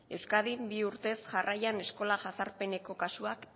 euskadin bi urtez jarraian eskola jazarpeneko kasuak